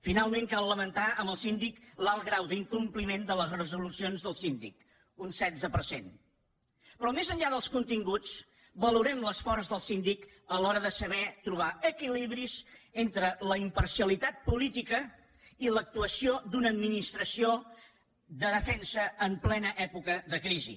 finalment cal lamentar amb el síndic l’alt grau d’incompliment de les resolucions del síndic un setze per cent però més enllà dels continguts valorem l’esforç del síndic a l’hora de saber trobar equilibris entre la imparcialitat política i l’actuació d’una administració de defensa en plena època de crisi